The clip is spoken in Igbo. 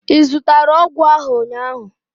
ị zụtara ahụ ọgwụ ụnyaahụ?